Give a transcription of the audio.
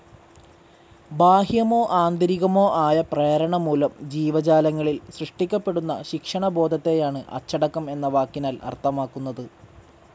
ബാഹ്യമോ ആന്തരികമോ ആയ പ്രേരണമൂലം ജീവജാലങ്ങളിൽ സൃഷ്ടിക്കപ്പെടുന്ന ശിക്ഷണബോധത്തെയാണ് അച്ചടക്കം എന്ന വാക്കിനാൽ അർഥമാക്കുന്നത്.